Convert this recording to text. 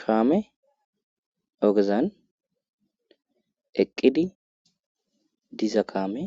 kaame ogezan eqqidi diza kaame